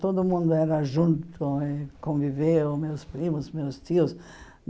Todo mundo era junto e conviveu, meus primos, meus tios.